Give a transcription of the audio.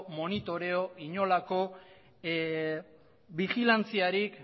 monitorio edota bijilantziarik